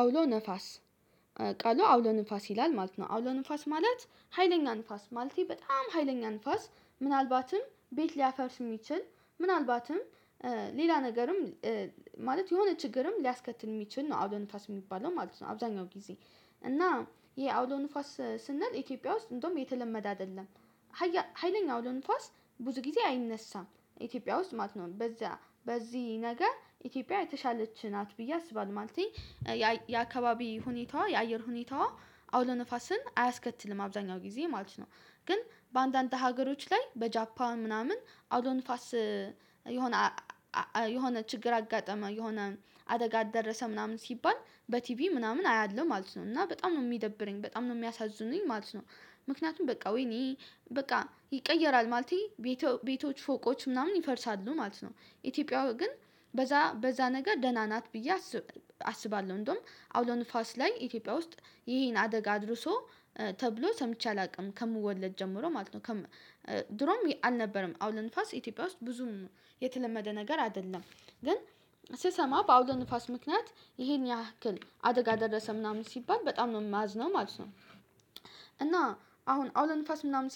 አውሎ ነፋስ ቃሉ አውሎ ነፋስ ይላል ማለት ነው አውሎ ንፋስ ማለት ሀይለኛ ንፋስ ማለቴ በጣም ሀይለኛ ንፋስ ምናልባትም ቤት ሊያፈርስ የሚችል ምናልባትም ሌላ ነገርም ማለት የሆነ ችግርም ሊያስከትል የሚችል ነው። አውሎ ንፋስ የሚባለው ማለት ነው። አብዛኛው ጊዜ እና ይሄ አውሎ ንፋስ ስንል ኢትዮጵያ ውስጥ እንደውም የተለመደ አይደለም። ሀያለኛ አውሎ ንፋስ ብዙ ጊዜ አይነሳም ኢትዮጵያ ውስጥ ማለት ነው። በዛ በዚህ ነገር ኢትዮጵያ የተሻለች ናት ብዬ አስባለሁ። ማለቴ የአካባቢ ሁኔታዋ የአየር ሁኔታዋ አውሎ ንፋስን አያስከትልም አብዛኛው ጊዜ ማለት ነው። ግን በአንዳንድ ሀገሮች ላይ በጃፓን ምናምን አውሎ ንፋስ የሆነ የሆነ ችግር አጋጠመ የሆነ አደጋ ደረሰ ምናምን ሲባል በቲቪ ምናምን አያለሁ ማለት ነው። እና በጣም ነው የሚደብረኝ በጣም ነው የሚያሳዝኑኝ ማለት ነው። ምክንያቱም በቃ ወይኔ በቃ ይቀየራል ማለት ቤቶች ቤቶች ፎቆች ምናምን ይፈርሳሉ ማለት ነው። ኢትዮጵያው ግን በዛ በዛ ነገር ደህና ናት ብዬ አስባለሁ እንደውም አውሎ ንፋስ ላይ ኢትዮጵያ ውስጥ ይሄን አደጋ አድርሶ ተብሎ ሰምቼ አላውቅም ከምወለድ ጀምሮ ማለት ነው። ድሮም አልነበረም አውሎ ንፋስ ኢትዮጵያ ውስጥ ብዙም የተለመደ ነገር አይደለም። ግን ስሰማ በአውሎ ንፋስ ምክንያት ይሄን ያክል አደጋ ደረሰ ምናምን ሲባል በጣም ማዝነው ማለት ነው። እና አሁን አውሎ ንፋስ ምናምን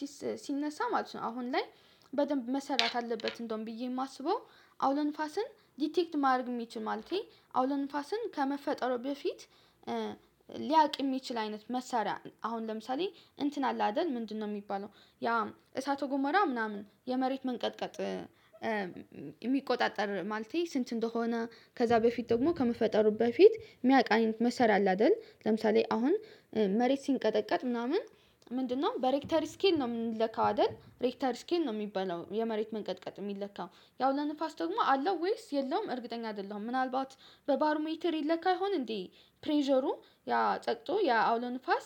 ሲነሳ ማለት ነው አሁን ላይ በደንብ መሰራት አለበት። እንደውም ብዬ የማስበው አውለ ንፋስን ዲቴክት ማድረግ የሚችል ማለቴ አውሎ ንፋስን ከመፈጠሩ በፊት የሚችል አይነት መሳሪያ አሁን ለምሳሌ እንትን አለ አደል ምንድነው? የሚባለው ያ እሳተ ጎሞራ ምናምን የመሬት መንቀጥቀጥ። የሚቆጣጠር ማለቴ ስንት እንደሆነ ከዛ በፊት ደግሞ ከመፈጠሩ በፊት የሚያውቅ አይነት መሰር አለ አይደል? ለምሳሌ አሁን መሬት ሲንቀጠቀጥ ምናምን ምንድነው በሬክተር ስኬል ነው የምንለካው አይደል? ሬክተር ስኬል ነው የሚባለው የመሬት መንቀጥቀጥ የሚለካው። የአውሎ ንፋስ ደግሞ አለው ወይስ የለውም እርግጠኛ አይደለሁም። ምናልባት በባር ሜተር ይለካ ይሆን እንዴ? ፕሬዠሩ ያ ጠቅቶ ያ አውሎ ንፋስ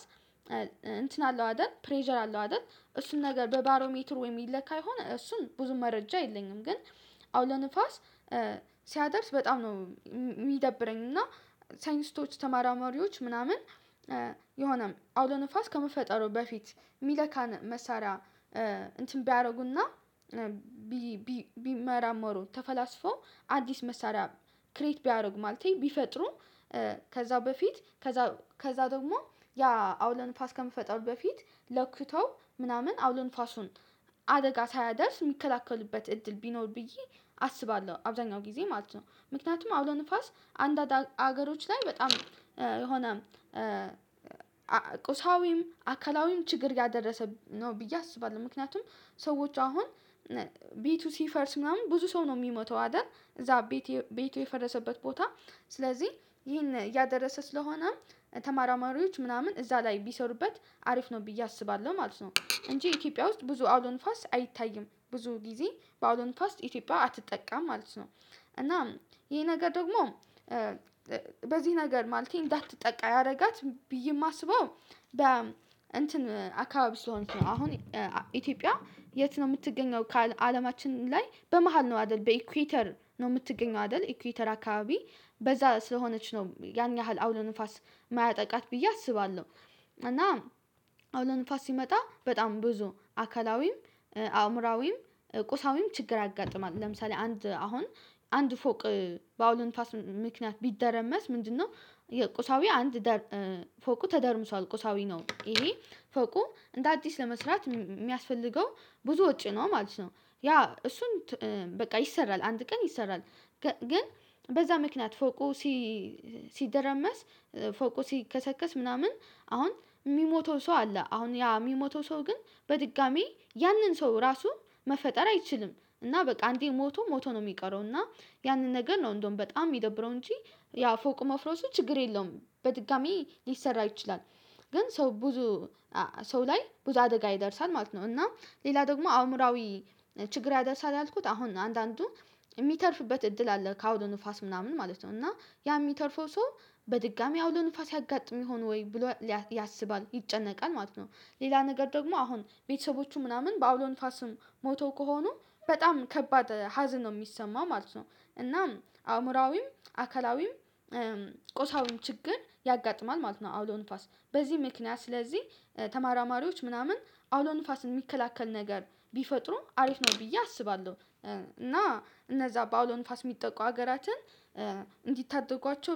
አለው አደል ፕሬዠር አለው አደል እሱን ነገር በባሮ ሜትር ወይም ይለካ የሆነ እሱን ብዙ መረጃ የለኝም። ግን አውሎ ንፋስ ሲያደርስ በጣም ነው የሚደብረኝ። እና ሳይንስቶች ተመራማሪዎች ምናምን የሆነም አውሎ ንፋስ ከመፈጠሩ በፊት የሚለካን መሳሪያ እንትን ቢያደርጉና ቢመራመሩ ተፈላስፎ አዲስ መሳሪያ ክሬት ቢያደርግ ማለት ቢፈጥሩ። ከዛ በፊት ከዛ ከዛ ደግሞ ያ አውሎ ንፋስ ከመፈጠሩ በፊት ለክተው ምናምን አውሎ ንፋሱን አደጋ ሳያደርስ የሚከላከሉበት እድል ቢኖር ብዬ አስባለሁ አብዛኛው ጊዜ ማለት ነው። ምክንያቱም አውሎ ንፋስ አንዳንድ አገሮች ላይ በጣም የሆነ ቁሳዊም አካላዊም ችግር ያደረሰ ነው ብዬ አስባለሁ። ምክንያቱም ሰዎች አሁን ቤቱ ሲፈርስ ምናምን ብዙ ሰው ነው የሚሞተው አይደል? እዛ ቤቴ ቤቴ የፈረሰበት ቦታ ስለዚህ ይህን ያደረሰ ስለሆነ ተመራማሪዎች ምናምን እዛ ላይ ቢሰሩበት አሪፍ ነው ብዬ አስባለሁ ማለት ነው። እንጂ ኢትዮጵያ ውስጥ ብዙ አውሎ ንፋስ አይታይም ብዙ ጊዜ በአውሎ ንፋስ ኢትዮጵያ አትጠቃም ማለት ነው። እናም ይሄ ነገር ደግሞ በዚህ ነገር ማለት እንዳትጠቃ ያደረጋት ብዬ የማስበው በ እንትን አካባቢ ስለሆነች ነው። አሁን ኢትዮጵያ የት ነው የምትገኘው ከአለማችን ላይ በመሃል ነው አይደል? በኢኩዌተር ነው የምትገኘው አይደል? ኢኩዌተር አካባቢ በዛ ስለሆነች ነው ያን ያህል አውሎ ንፋስ የማያጠቃት ብዬ አስባለሁ። እና አውሎ ለንፋስ ሲመጣ በጣም ብዙ አካላዊም አእምሮአዊም ቁሳዊም ችግር ያጋጥማል። ለምሳሌ አንድ አሁን አንድ ፎቅ በአውሎ ንፉስ ምክንያት ቢደረመስ ምንድነው? የቁሳዊ አንድ ፎቁ ተደርምሷል ቁሳዊ ነው። ይሄ ፎቁ እንደ አዲስ ለመስራት የሚያስፈልገው ብዙ ወጪ ነው ማለት ነው። ያ እሱን በቃ ይሰራል አንድ ቀን ይሰራል። ግን በዛ ምክንያት ፎቁ ሲደረመስ ፎቁ ሲከሰከስ ምናምን አሁን የሚሞተው ሰው አለ አሁን ያ የሚሞተው ሰው ግን በድጋሚ ያንን ሰው ራሱ መፈጠር አይችልም። እና በቃ አንዴ ሞቶ ሞቶ ነው የሚቀረው። እና ያንን ነገር ነው እንደውም በጣም የሚደብረው እንጂ። ያ ፎቅ መፍረሶች ችግር የለውም በድጋሚ ሊሰራ ይችላል። ግን ሰው ብዙ ሰው ላይ ብዙ አደጋ ይደርሳል ማለት ነው። እና ሌላ ደግሞ አእምሮአዊ ችግር ያደርሳል ያልኩት አሁን አንዳንዱ የሚተርፍበት እድል አለ ከአውሎ ንፋስ ምናምን ማለት ነው። እና ያ የሚተርፈው ሰው በድጋሚ አውሎ ንፋስ ያጋጥም ይሆን ወይ ብሎ ያስባል ይጨነቃል ማለት ነው። ሌላ ነገር ደግሞ አሁን ቤተሰቦቹ ምናምን በአውሎ ንፋስም ሞተው ከሆኑ በጣም ከባድ ሀዘን ነው የሚሰማው ማለት ነው። እናም አእምሮአዊም አካላዊም ቆሳዊም ችግር ያጋጥማል ማለት ነው። አውሎ ንፉስ በዚህ ምክንያት ስለዚህ ተመራማሪዎች ምናምን አውሎ ንፋስን የሚከላከል ነገር ቢፈጥሩ አሪፍ ነው ብዬ አስባለሁ። እና እነዛ በአውሎ ንፋስ የሚጠቁ ሀገራትን እንዲታደጓቸው